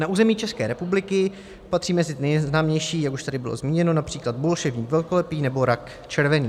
Na území České republiky patří mezi nejznámější, jak už tady bylo zmíněno, například bolševník velkolepý nebo rak červený.